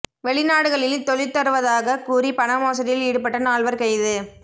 வெளிநாடுகளில் தொழில் தருவதாகக் கூறி பண மோசடியில் ஈடுபட்ட நால்வர் கைது